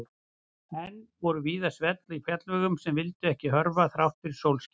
Enn voru víða svell á fjallvegum sem vildu ekki hörfa þrátt fyrir sólskin.